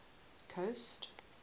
coast